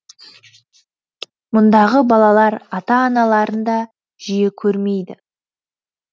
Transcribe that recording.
мұндағы балалар ата аналарын да жиі көрмейді